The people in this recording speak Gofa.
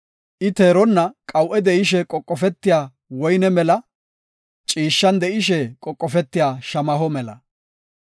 I teeronna qawu7e de7ishe qoqofetiya woyne mela; ciishshan de7ishe qoqofetiya shamaho mela.